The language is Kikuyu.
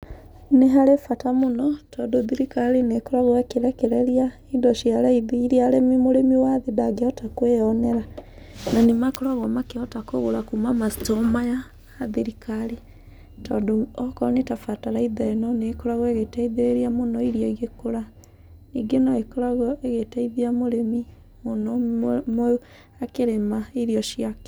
Nĩ harĩ bata mũno tondũ thirikari nĩ ĩkoragwo ĩkĩrekereria indo cia raithi iria mũrĩmi wa thĩ ndangĩhota kwĩonera na nĩkoragwo makĩhota kũgũra kuma macitoo maya ma thirikari tondũ okorwo nĩ ta bataraitha ta ĩno, nĩ ĩkoragwo ĩgĩteithĩrĩria mũno irio igĩkũra. Ningĩ no ĩgĩkoragwo ĩgĩtethia mũrĩmi mũno akĩrĩma irio ciake.